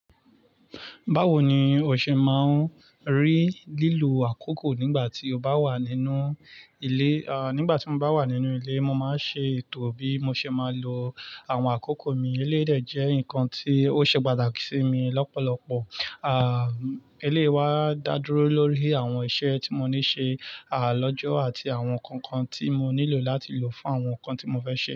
Báwo ni o ṣe máa ń rí lílo àkókò nígbà tí o bá wà nínú ilé? Nígbà tí mo bá wà nínú ilé, mo máa ń ṣe ètò bí mo ṣe máa lo àwọn àkókò mi. Eléyi de jẹ nkan tí ó ṣe pàtàkì sí mi lọ́pọ̀lọpọ̀. Eléyi wá dá dúró lórí àwọn iṣẹ́ tí mo ní ṣe lọ́jọ́ àti àwọn kookan tí mo nílò láti lò fún àwọn ǹkan tí mo fẹ́ ṣe.